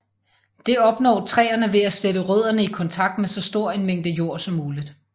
Det opnår træerne ved at sætte rødderne i kontakt med så stor en mængde jord som muligt